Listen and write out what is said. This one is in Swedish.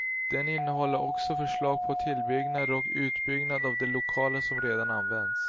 Den innehåller också förslag på tillbyggnader och utbyggnad av de lokaler som redan används.